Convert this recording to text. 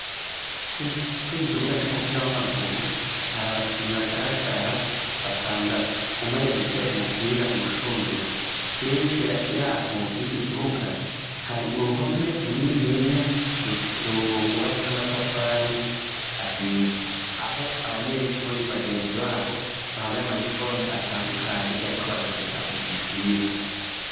Ko iki gibuga c'umupira w'amaguru hari abakinyi bagaragara batandatu umweye gutera umupira mu rushunduro herya yaho y'iki kibuga hari uruhome runininya rugubatse n'amatafari ahiye aho abanyeshuri bagenzi babo ambaye amaniforme atandukanye bariko bararorera uyu mupira.